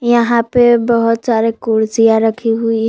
यहां पे बहोत सारे कुर्सियां रखी हुई है।